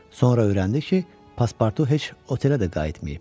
Sonra öyrəndi ki, paspartu heç otelə də qayıtmayıb.